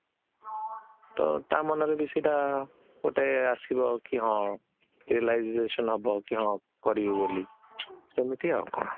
ତ ତା ମନରେ ସେତ ଗୋଟେ ଆସିବ କି ହଁ realization ହବ କି ହଁ କରିବି ବୋଲି ସେମିତି ଆଉ କଣ